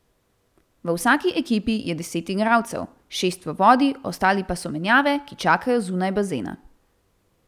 V vsaki ekipi je deset igralcev, šest v vodi, ostali pa so menjave, ki čakajo zunaj bazena.